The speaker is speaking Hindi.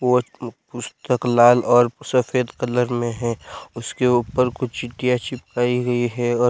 बहुत पुस्तक लाल और सफेद कलर में हैं उसके ऊपर कुछ चीटियां चिपकाई गई हैं और--